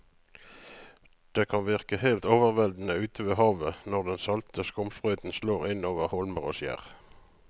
Det kan virke helt overveldende ute ved havet når den salte skumsprøyten slår innover holmer og skjær.